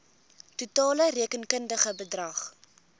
totale rekenkundige bedrag